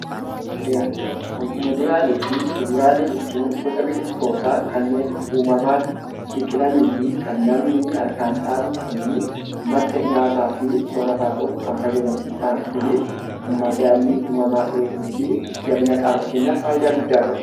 Muduraaniifii kuduraalee jechuun gosa biqiltootaa kanneen uumamaan biqilaniifi kan namni harkaan dhaabu ta'anii, madda nyaataafi sorataa ta'uuf kan fayyadani. Isaan kunis madaallii uumamaa eeguufi jabina qaama keenyaaf faayidaa guddaa qabu.